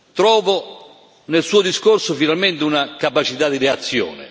Trovo nel suo discorso, finalmente, una capacità di reazione.